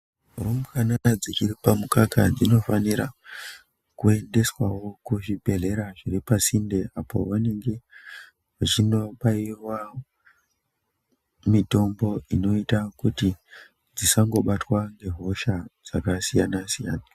Rumbwana dzichiri pamukaka dzinofanira kuendeswawo kuzvibhedhlera zviripasinde apo vanenge vechinobairwa mitombo inoita kuti dzisangobatwa nehosha dzakasiyana siyana.